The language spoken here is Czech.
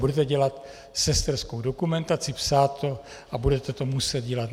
Budete dělat sesterskou dokumentaci, psát to a budete to muset dělat.